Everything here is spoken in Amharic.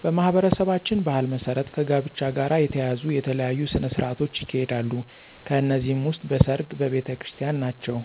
በማኅበረሰባችን ባሕል መሠረት ከጋብቻ ጋር የተያያዙ የተለያዩ ሥነ ሥርዓቶች ይካሄዳሉ ከነዚህም ውስጥ በሰርግ፣ በቤተክርስቲን ናቸው።